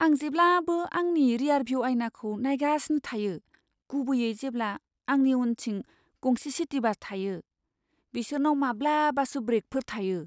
आं जेब्लाबो आंनि रिआरभिउ आयनाखौ नायगासिनो थायो, गुबैयै जेब्ला आंनि उनथिं गंसे सिटि बास थायो। बिसोरनाव माब्लाबासो ब्रेकफोर थायो।